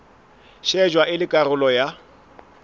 shejwa e le karolo ya